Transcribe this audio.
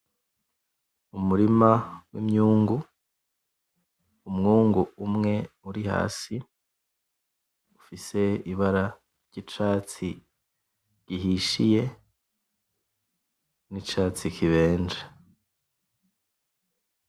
Umurima w'imyungu, umwungu umwe uri hasi ufise ibara ry'icatsi gihishiye n'icatsi kibenje.